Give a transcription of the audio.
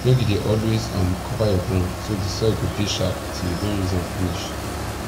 make you dey always um cover your ground so de soil go dey sharp till you don use am finish